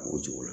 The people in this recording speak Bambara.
O cogo la